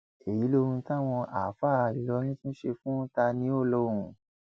èyí lohun táwọn àáfàá ìlọrin tún ṣe fún taniolóhùn